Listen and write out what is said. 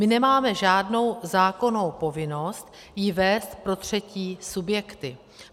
My nemáme žádnou zákonnou povinnost ji vést pro třetí subjekty.